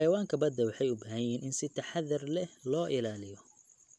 Xayawaanka badda waxay u baahan yihiin in si taxadar leh loo ilaaliyo.